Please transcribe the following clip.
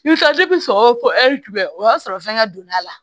I bɛ taa sɔgɔ tigɛ o y'a sɔrɔ fɛngɛ donna a la